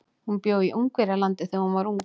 Hún bjó í Ungverjalandi þegar hún var ung.